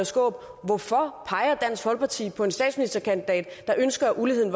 skaarup hvorfor peger dansk folkeparti på en statsministerkandidat der ønsker at uligheden